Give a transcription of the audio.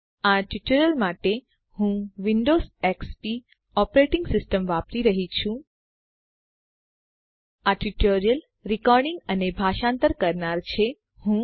આ ટ્યુટોરીયલ માટે હું વિંડોવ્ઝ એક્સપી ઓપરેટીંગ સીસ્ટમ વાપરી રહ્યી છું